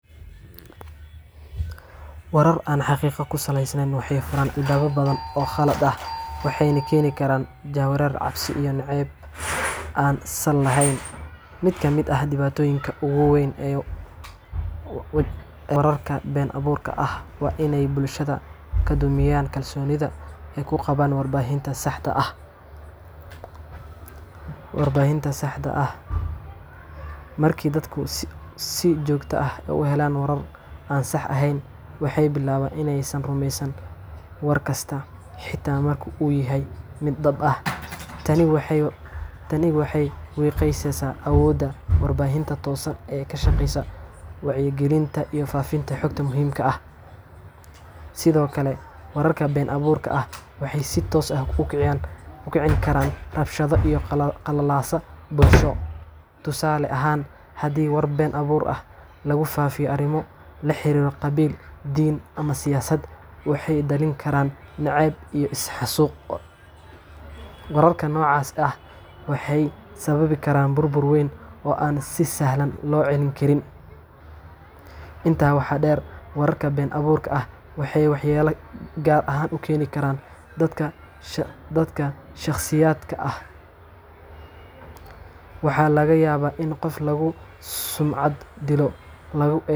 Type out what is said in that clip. Wararka been abuurka ah waxay leeyihiin dhibaatooyin badan oo saameyn ku yeesha bulshada, dowladaha, iyo qof walba oo akhriya ama sii faafiya. Warar aan xaqiiqo ku salaysnayn waxay furaan albaabyo badan oo khalad ah, waxayna keeni karaan jahwareer, cabsi iyo nacayb aan sal lahayn. Mid ka mid ah dhibaatooyinka ugu weyn ee wararka been abuurka ah waa in ay bulshada ka dhumiyaan kalsoonida ay ku qabaan warbaahinta saxda ah. Markii dadku si joogto ah u helaan warar aan sax ahayn, waxay bilaabaan in aysan rumaysan war kasta, xitaa marka uu yahay mid dhab ah. Tani waxay wiiqaysaa awoodda warbaahinta toosan ee ka shaqeysa wacyigelinta iyo faafinta xogta muhiimka ah. Sidoo kale, wararka been abuurka ah waxay si toos ah u kicin karaan rabshado iyo qalalaase bulsho. Tusaale ahaan, haddii war been abuur ah lagu faafiyo arrimo la xiriira qabiil, diin, ama siyaasad, waxay dhalin kartaa nacayb iyo is-xasuuq. Wararka noocaas ah waxay sababi karaan burbur weyn oo aan si sahal ah loo xallin karin. Intaa waxaa dheer, wararka been abuurka ah waxay waxyeello gaar ah u keeni karaan dadka shakhsiyaadka ah. Waxaa laga yaabaa in qof lagu sumcad dilo, lagu eedeeyo.